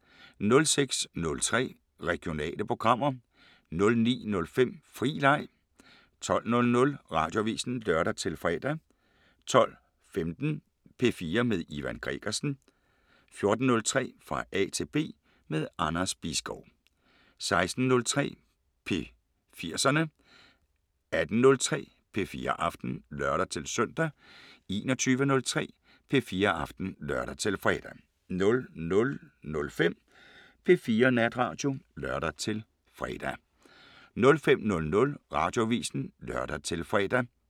06:03: Regionale programmer 09:05: Fri leg 12:00: Radioavisen (lør-fre) 12:15: P4 med Ivan Gregersen 14:03: Fra A til B – med Anders Bisgaard 16:03: P4'serne 18:03: P4 Aften (lør-søn) 21:03: P4 Aften (lør-fre) 00:05: P4 Natradio (lør-fre) 05:00: Radioavisen (lør-fre)